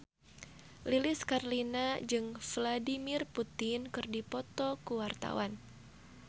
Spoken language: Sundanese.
Lilis Karlina jeung Vladimir Putin keur dipoto ku wartawan